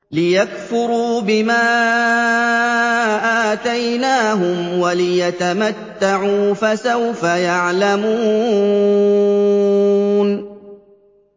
لِيَكْفُرُوا بِمَا آتَيْنَاهُمْ وَلِيَتَمَتَّعُوا ۖ فَسَوْفَ يَعْلَمُونَ